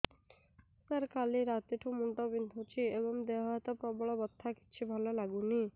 ସାର କାଲି ରାତିଠୁ ମୁଣ୍ଡ ବିନ୍ଧୁଛି ଏବଂ ଦେହ ହାତ ପ୍ରବଳ ବଥା କିଛି ଭଲ ଲାଗୁନି